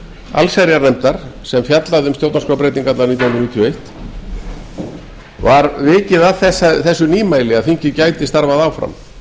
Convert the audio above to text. allsherjarnefndar sem fjallaði um stjórnarskrárbreytingarnar nítján hundruð níutíu og eitt var vikið að þessu nýmæli að þingið gæti starfað áfram